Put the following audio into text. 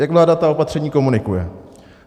Jak vláda ta opatření komunikuje?